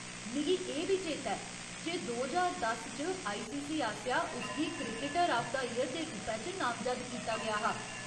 मिगी एह् बी चेता ऐ जे दो ज्हार दस च आईसीसी आसेआ उस गी क्रिकटर आफ द ईयर दे रूपै च नामजद्द कीता गेआ हा।